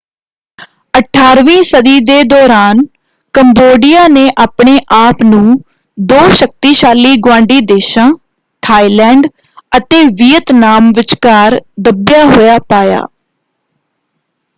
18ਵੀਂ ਸਦੀ ਦੇ ਦੌਰਾਨ ਕੰਬੋਡੀਆ ਨੇ ਆਪਣੇ ਆਪ ਨੂੰ ਦੋ ਸ਼ਕਤੀਸ਼ਾਲੀ ਗੁਆਂਢੀ ਦੇਸ਼ਾਂ ਥਾਈਲੈਂਡ ਅਤੇ ਵੀਅਤਨਾਮ ਵਿਚਕਾਰ ਦੱਬਿਆ ਹੋਇਆ ਪਾਇਆ।